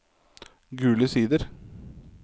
Gule Sider